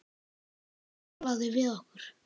Sá sem talaði við okkur.